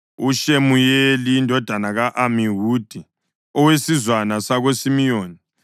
uShemuyeli indodana ka-Amihudi, owesizwana sakoSimiyoni;